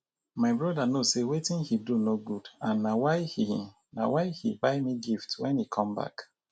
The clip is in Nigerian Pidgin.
my brother no say wetin he do no good and na why he na why he buy me gift wen he come back